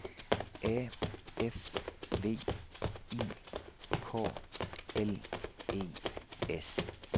A F V I K L E S